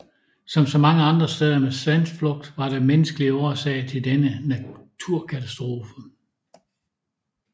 Som så mange andre steder med sandflugt var der menneskelige årsager til denne naturkatastrofe